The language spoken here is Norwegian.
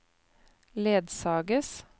ledsages